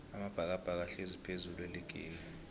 amabhakabhaka ahlezi phezullu eligini